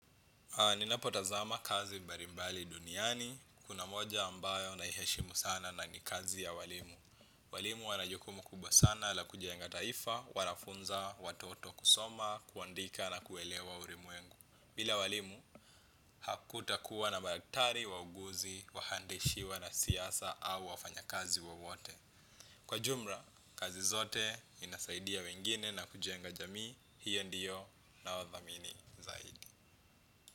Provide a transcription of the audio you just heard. Ninapotazama kazi mbalimbali duniani, kuna moja ambayo naiheshimu sana na ni kazi ya walimu. Walimu wana jukumu kubwa sana la kujienga taifa, wanafunza, watoto kusoma, kuandika na kuelewa ulimwengu. Bila walimu, hakutakuwa na madaktari wauguzi, wahandishi wanasiasa au wafanyakazi wowote. Kwa jumla, kazi zote inasaidia wengine na kujenga jamii, hiyo ndiyo nawadhamini zaidi.